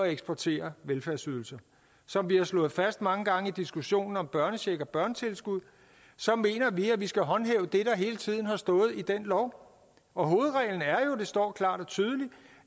eksportere velfærdsydelser som vi har slået fast mange gange i diskussionen om børnecheck og børnetilskud mener vi at vi skal håndhæve det der hele tiden har stået i den lov og hovedreglen er jo det står klart og tydeligt